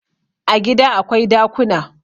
A gida akwai dakuna